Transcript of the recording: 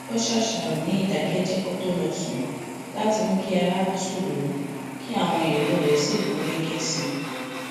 ó ṣàṣàrò ní ìdákéjéé kó tó lọ sùn láti mú kí ara tù ú kí àwọn èrò rè sì gún rè sì gún